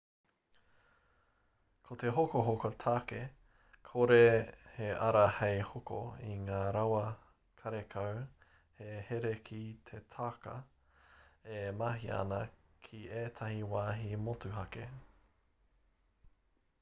ko te hokohoko tāke kore he ara hei hoko i ngā rawa karekau he here ki te tāka e mahia ana ki ētahi wāhi motuhake